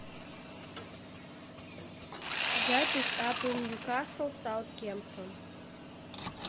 запись апл ньюкасл саутгемптон